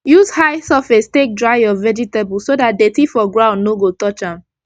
use high surface take dry ur vegetable so dat dirty for ground no go touch am